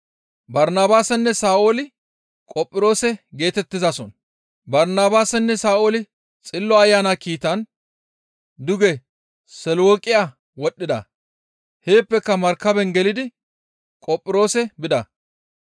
Barnabaasinne Sa7ooli Xillo Ayana kiitan duge Selawuqiya wodhdhida; heeppeka markaben gelidi Qophiroose bida.